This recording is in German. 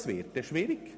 Das wird schwierig.